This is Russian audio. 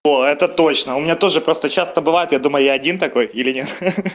о это точно у меня тоже просто часто бывает я думаю я один такой или нет ха-ха